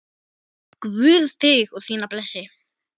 Guð þig og þína blessi.